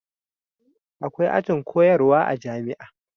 akwai ajin koyarwa a jami'a